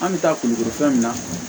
An bɛ taa kulukoro fɛn min na